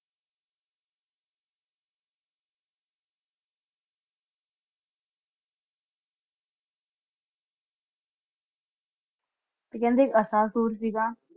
ਤੇ ਕਹਿੰਦੇ ਇੱਕ ਅਸਾਸੁਰ ਸੀਗਾ